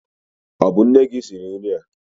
Ọ bụ nne gị siri nri a?